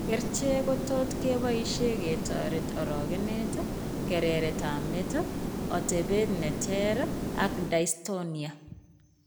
Kercheek kotot keboisien ketoret orogenet, kereret ab met, otebet neter ak dystonia